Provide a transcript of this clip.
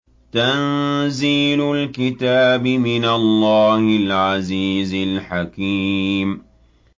تَنزِيلُ الْكِتَابِ مِنَ اللَّهِ الْعَزِيزِ الْحَكِيمِ